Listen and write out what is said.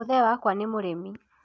mũthee wakwa nĩ mũrĩmi